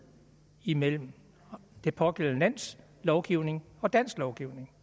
imellem det pågældende lands lovgivning og dansk lovgivning